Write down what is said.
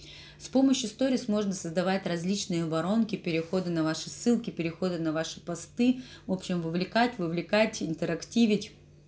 с помощью сторис можно создавать различные воронки переходы на ваши ссылки переходы на ваши посты в общем вовлекает вовлекать интерактивить